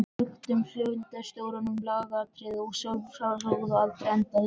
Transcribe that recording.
Ályktun fundarstjóra um lagaatriði er að sjálfsögðu aldrei endanleg.